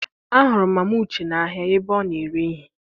Ahụrụ m mama Uche n'ahia ebe ọ na-ere ihe.